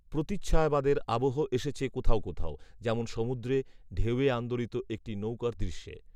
প্রতিচ্ছায়াবাদের আবহ এসেছে কোথাও কোথাও, যেমন সমুদ্রে, ঢেউয়ে আন্দোলিত একটি নৌকার দৃশ্যে